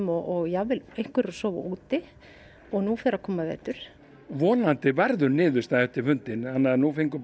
og jafnvel einhverjir að sofa úti en nú fer að koma vetur vonandi verður niðurstaða eftir fundinn en nú fengu